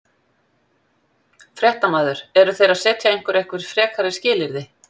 Fréttamaður: Eru þeir að setja ykkur einhver frekari skilyrði?